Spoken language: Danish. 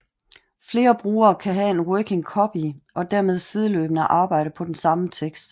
Flere brugere kan have en working copy og dermed sideløbende arbejde på den samme tekst